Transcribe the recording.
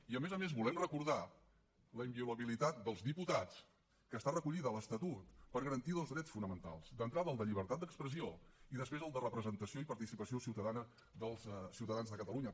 i a més a més volem recordar la inviolabilitat dels diputats que està recollida a l’estatut per garantir dos drets fonamentals d’entrada el de llibertat d’expressió i després el de representació i participació ciutadana dels ciutadans de catalunya